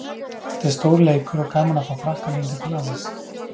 Þetta er stór leikur og gaman að fá Frakkana hingað til landsins.